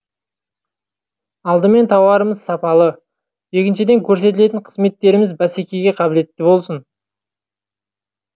алдымен тауарымыз сапалы екіншіден көрсетілетін қызметтеріміз бәсекеге қабілетті болсын